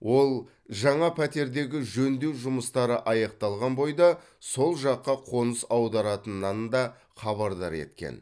ол жаңа пәтердегі жөндеу жұмыстары аяқталған бойда сол жаққа қоныс аударатынынан да хабардар еткен